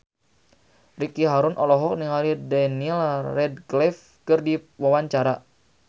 Ricky Harun olohok ningali Daniel Radcliffe keur diwawancara